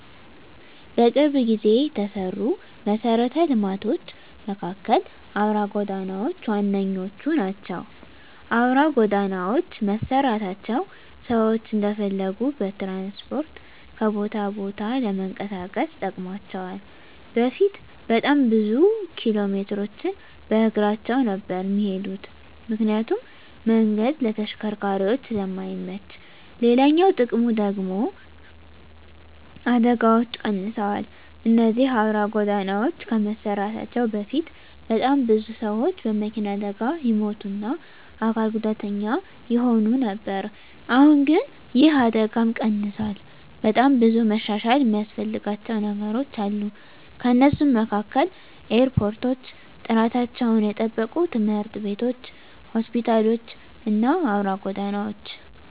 በቅርብ ጊዜ የተሰሩ መሰረተ ልማቶች መካከል አውራ ጎዳናዎች ዋነኞቹ ናቸው። አውራ ጎዳናዎች መሰራታቸው ሰዎች እንደፈለጉ በትራንስፖርት ከቦታ ቦታ ለመንቀሳቀስ ጠቅሟቸዋል በፊት በጣም ብዙ ኪሎሜትሮችን በእግራቸው ነበር እሚሄዱት ምክንያቱም መንገዱ ለተሽከርካሪዎች ስለማይመች፤ ሌላኛው ጥቅሙ ደግሙ ደግሞ አደጋዎች ቀንሰዋል እነዚህ አውራ ጎዳናዎች ከመሰራታቸው በፊት በጣም ብዙ ሰዎች በመኪና አደጋ ይሞቱ እና አካል ጉዳተኛ ይሆኑ ነበር አሁን ግን ይህ አደጋም ቀንሷል። በጣም ብዙ መሻሻል እሚያስፈልጋቸው ነገሮች አሉ ከነሱም መካከል ኤርፖርቶች፣ ጥራታቸውን የጠበቁ ትምህርት ቤቶች፣ ሆስፒታሎች እና አውራ ጎዳናዎች።